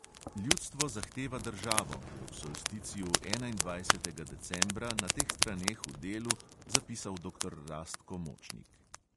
Ljudstvo zahteva državo, je ob solsticiju enaindvajsetega decembra na teh straneh v delu zapisal doktor rastko močnik.